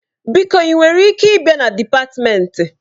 Biko ị nwere ike ịbịa na dịpatmenti?